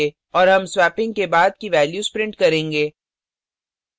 और हम swapping से बाद की values print करेंगे